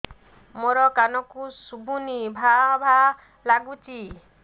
ମୋ କାନକୁ ଶୁଭୁନି ଭା ଭା ଲାଗୁଚି